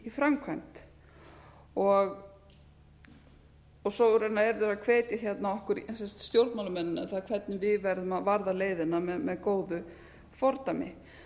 í framkvæmd svo raunar eru þeir að hvetja hérna okkur stjórnmálamennina hvernig við verðum varða leiðina með góðu fordæmi